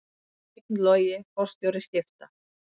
Steinn Logi forstjóri Skipta